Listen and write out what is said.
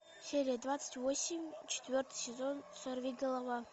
серия двадцать восемь четвертый сезон сорвиголова